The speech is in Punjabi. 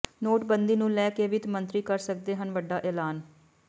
ਨੋਟਬੰਦੀ ਨੂੰ ਲੈ ਕੇ ਵਿੱਤ ਮੰਤਰੀ ਕਰ ਸਕਦੇ ਹਨ ਵੱਡਾ ਐਲਾਨ